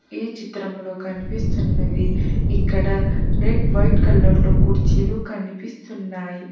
ఈ చిత్రంలో కనిపిస్తున్నది ఇక్కడ రెడ్ వైట్ కలర్ లో కుర్చీలు కనిపిస్తున్నాయి.